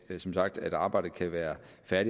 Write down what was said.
som sagt at arbejdet kan være